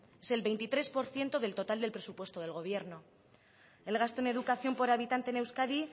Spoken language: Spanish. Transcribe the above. es el veintitrés por ciento del total del presupuesto del gobierno el gasto en educación por habitante en euskadi